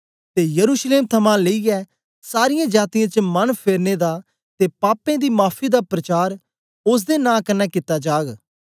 ते यरूशलेम थमां लेईयै सारीयें जातीयें च मन फेरने दा ते पापें दी माफी दा प्रचार ओसदे नां कन्ने कित्ता जाग